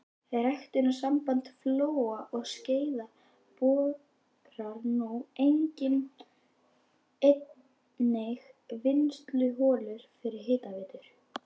Ræktunarsamband Flóa og Skeiða borar nú einnig vinnsluholur fyrir hitaveitur.